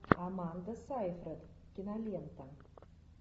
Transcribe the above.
аманда сайфред кинолента